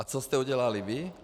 A co jste udělali vy?